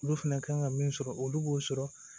Olu fɛnɛ kan ka min sɔrɔ olu b'o sɔrɔ